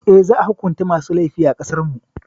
Eh, za a hukunta masu laifi a ƙasarmu.